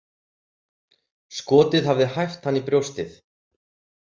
Skotið hafði hæft hann í brjóstið.